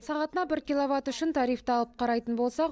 сағатына бір киловатт үшін тарифті алып қарайтын болсақ